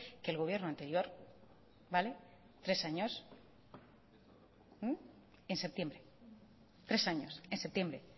que el gobierno anterior vale tres años en septiembre tres años en septiembre